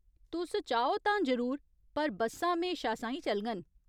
तुस चाहो तां जरूर, पर बस्सां म्हेशा साहीं चलङन।